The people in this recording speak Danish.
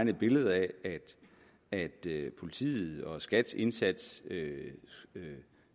et billede af at at politiets og skats indsats